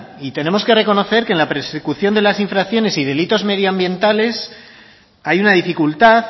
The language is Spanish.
y tenemos que reconocer que en la persecución de las infracciones y delitos medioambientales hay una dificultad